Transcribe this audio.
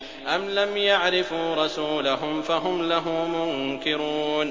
أَمْ لَمْ يَعْرِفُوا رَسُولَهُمْ فَهُمْ لَهُ مُنكِرُونَ